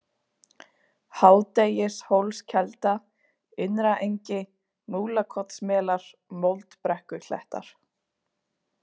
Hádegishólskelda, Innraengi, Múlakotsmelar, Moldbrekkuklettar